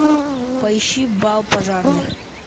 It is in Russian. поищи бал пожарных